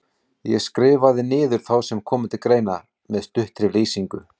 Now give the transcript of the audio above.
Ég skrifaði niður þá sem komu til greina, með stuttri lýsingu.